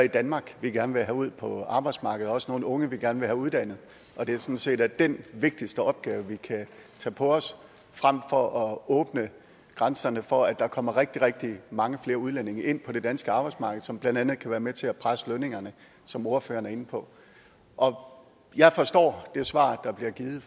i danmark vi gerne vil have ud på arbejdsmarkedet og også nogle unge vi gerne vil have uddannet og det er sådan set den vigtigste opgave vi kan tage på os fremfor at åbne grænserne for at der kommer rigtig rigtig mange flere udlændinge ind på det danske arbejdsmarked som blandt andet kan være med til at presse lønningerne som ordføreren er inde på jeg forstår det svar der bliver givet